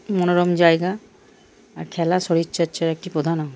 একটি মনোরম জায়গা আর খেলার শরীরচর্চার একটি প্রধান অঙ্গ ।